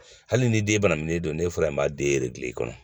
Hali ni den ye banabilen don n'e fɔra i b'a den gilan i kɔnɔ